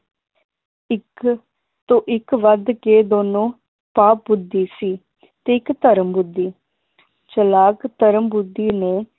ਇਕ ਤੋਂ ਇਕ ਵੱਧ ਕੇ ਦੋਨੋ ਪਾ ਬੁੱਧੀ ਸੀ ਤੇ ਇਕ ਧਰਮ ਬੁੱਧੀ ਚਲਾਕ ਧਰਮ ਬੁੱਧੀ ਨੂੰ